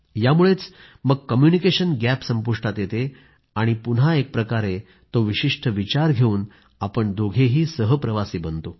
यामुळेच मग communication gap संपुष्टात येते आणि मग पुन्हा एकप्रकारे तो विशिष्ट विचार घेऊन आपण दोघेही सहप्रवासी बनतो